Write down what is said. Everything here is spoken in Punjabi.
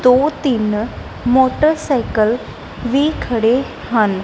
ਦੋ ਤਿੰਨ ਮੋਟਰਸਾਈਕਲ ਵੀ ਖੜੇ ਹਨ।